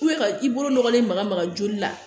ka i bolo nɔgɔlen maga maga joli la